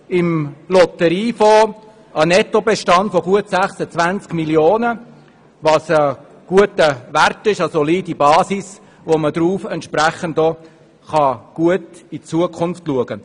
Der Lotteriefonds weist einen Nettobestand von gut 26 Mio. Franken auf, was ein guter Wert, eine solide Basis ist, um entsprechend gut in die Zukunft zu blicken.